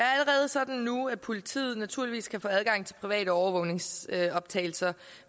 sådan nu at politiet naturligvis kan få adgang til private overvågningsoptagelser